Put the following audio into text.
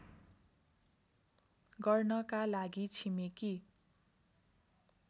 गर्नका लागि छिमेकी